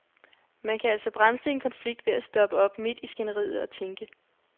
Man kan altså bremse en konflikt ved at stoppe op midt i skænderiet og tænke.